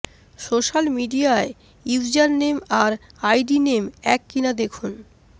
social মিডিয়ায় user name আর ID name এক কিনা দেখুন